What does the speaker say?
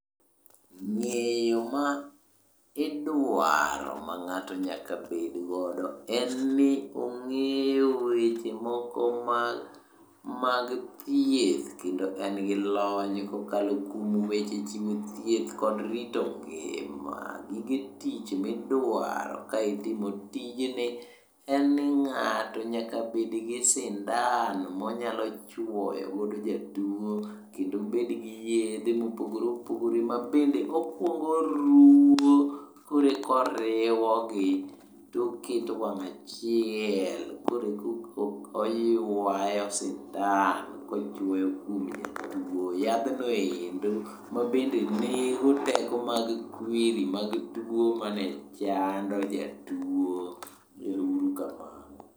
Ng'eyo ma, idwaro ma ng'ato nyaka bedgodo en ni ong'eyo weche moko ma, mag thieth kendo en gi lony kokalo kuom weche chiwo thieth kod rito ngima, gige tich midwaro ka itimo tijni en ni ng'ato nyaka bedgi sindan monyalo chuoyo godo jatuo kendo obed gi yedhe mopogore opogore mabende okuongo oruwo koreko oriwo gi toketo wang' achiel koreko oywayo sindan kochuoyo kuom jatuo yadhno endo mabende nego teko mag kwiri mag tuo mane chando jatuo, ero uru kamano